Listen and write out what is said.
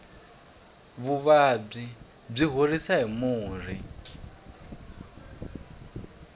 vuvabyi byi horisiwa hi murhi